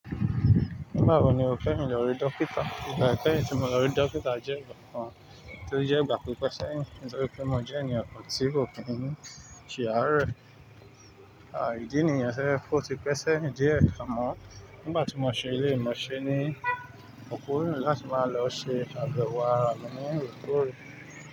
Nígbà wo ni o kẹyin ìọrí dókítà? Ìgbà ìkẹ́yìn tí mo lọ rí dókítà jẹ́ ìgbà kan tó jẹ́ ìgbà pípẹ́sẹ̀ yín. Nítorí pé mo jẹ́ ènìyàn kan tí kò kí ǹ ṣe aárẹ̀. À ìdí nìyẹn ṣẹ́ fún ó ti pẹ́sẹ̀ yín díẹ̀ àmó nígbà tí mo ṣe èléyìí mo ṣe ni, mo kúrò láti máa lọ ṣe abewo ara mi ní èkó rí.